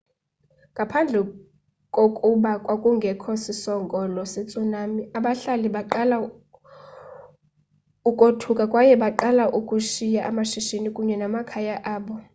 ngaphandle kokuba kwakungekho sisongelo se-tsunami abahlali baqala ukothuka kwaye baqala ukushiya amashishini kunye namakhaya abo